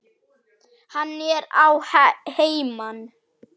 Hann er að heiman.